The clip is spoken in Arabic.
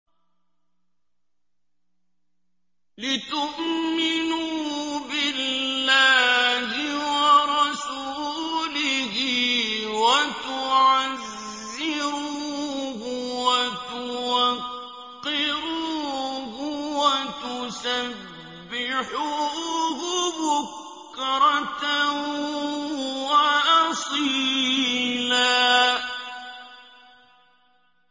لِّتُؤْمِنُوا بِاللَّهِ وَرَسُولِهِ وَتُعَزِّرُوهُ وَتُوَقِّرُوهُ وَتُسَبِّحُوهُ بُكْرَةً وَأَصِيلًا